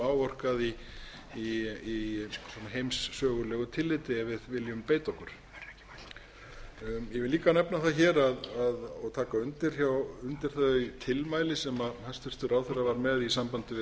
áorkað í heimsögulegu tilliti ef við viljum beita okkur ég vil líka nefna það hér og taka undir þau tilmæli sem hæstvirtur ráðherra var með í sambandi við